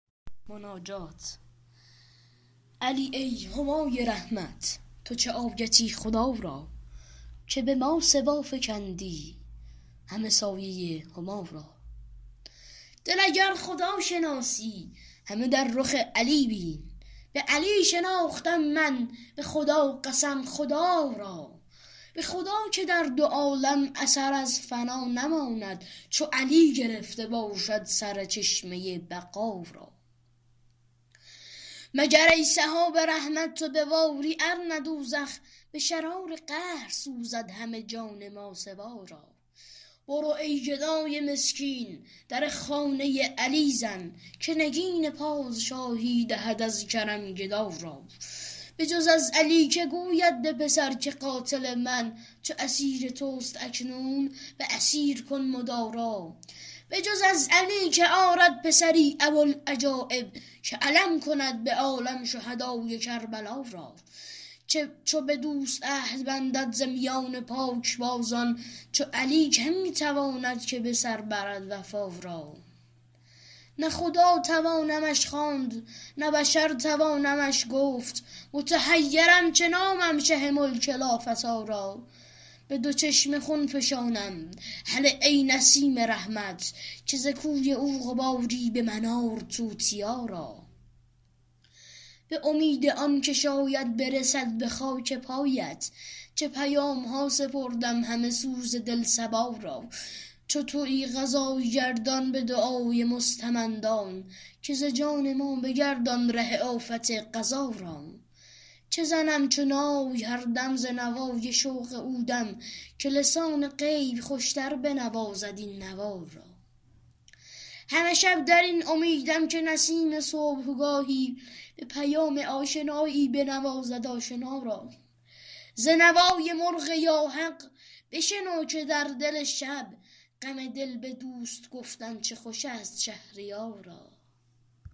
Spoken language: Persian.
علی ای همای رحمت تو چه آیتی خدا را که به ماسوا فکندی همه سایه هما را دل اگر خداشناسی همه در رخ علی بین به علی شناختم من به خدا قسم خدا را به خدا که در دو عالم اثر از فنا نماند چو علی گرفته باشد سر چشمه بقا را مگر ای سحاب رحمت تو بباری ارنه دوزخ به شرار قهر سوزد همه جان ماسوا را برو ای گدای مسکین در خانه علی زن که نگین پادشاهی دهد از کرم گدا را بجز از علی که گوید به پسر که قاتل من چو اسیر توست اکنون به اسیر کن مدارا بجز از علی که آرد پسری ابوالعجایب که علم کند به عالم شهدای کربلا را چو به دوست عهد بندد ز میان پاکبازان چو علی که می تواند که به سر برد وفا را نه خدا توانمش خواند نه بشر توانمش گفت متحیرم چه نامم شه ملک لافتی را به دو چشم خون فشانم هله ای نسیم رحمت که ز کوی او غباری به من آر توتیا را به امید آن که شاید برسد به خاک پایت چه پیامها سپردم همه سوز دل صبا را چو تویی قضای گردان به دعای مستمندان که ز جان ما بگردان ره آفت قضا را چه زنم چو نای هر دم ز نوای شوق او دم که لسان غیب خوشتر بنوازد این نوا را همه شب در این امیدم که نسیم صبحگاهی به پیام آشنایی بنوازد آشنا را ز نوای مرغ یا حق بشنو که در دل شب غم دل به دوست گفتن چه خوش است شهریارا